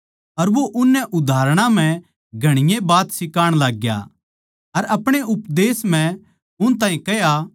अर वो उननै उदाहरणां म्ह घणीए बात सिखाण लाग्या अर आपणे उपदेश म्ह उन ताहीं कह्या